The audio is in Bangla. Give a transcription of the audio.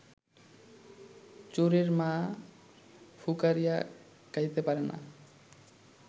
চোরের মা ফুকারিয়া কাঁদিতে পারে না